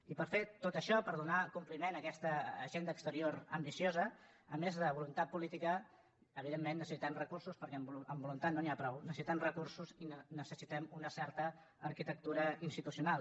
i per fer tot això per donar compliment a aquesta agenda exterior ambiciosa a més de voluntat política evidentment necessitem recursos perquè amb voluntat no n’hi ha prou necessitem recursos i necessitem una certa arquitectura institucional